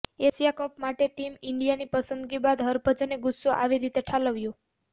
Asia cup માટે team ઇન્ડિયાની પસંદગી બાદ હરભજને ગુસ્સો આવી રીતે ઠાલવ્યો